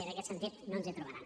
i en aquest sentit no ens hi trobaran